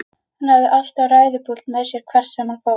Hann hafði alltaf ræðupúlt með sér hvert sem hann fór.